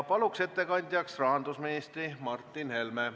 Palun ettekandjaks rahandusminister Martin Helme.